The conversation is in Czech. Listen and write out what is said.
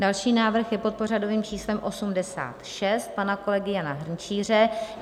Další návrh je pod pořadovým číslem 86 pana kolegy Jana Hrnčíře.